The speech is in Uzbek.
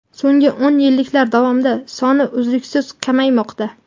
So‘nggi o‘n yilliklar davomida soni uzluksiz kamaymoqda.